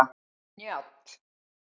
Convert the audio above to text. Njáll